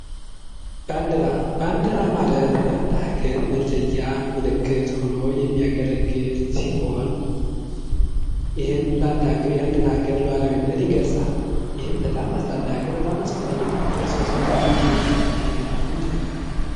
ባንዲራ:- ባንዲራ ማለት ለአንድ ሀገር መለያ ምልክት ሆኖ የሚያገለግል ሲሆን ይህም አንድን ሀገር ሉዓላዊነት ይገልፃል። ይህም ለአንድ አገር በጣም አስፈላጊ ነዉ። እርስዎስ በጣም የሚመችዎት ባንዲራ ምንድን ነዉ?